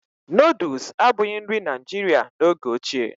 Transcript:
Nooduls abụghị nri Naijiria n'oge ochie